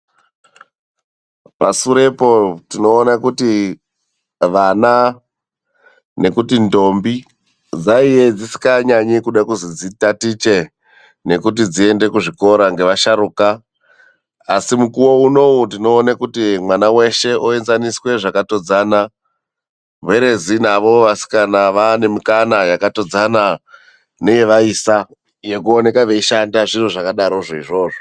Pasurepo tinoona kuti vana nekuti ndombi dzanga dzisinganyanyi dzichida kunzi dzitatiche nekuti dziende kuzvikora nevasharuka asi munguva munomu tinoona kuti mwana weshe oenzaniswa zvakatodzana .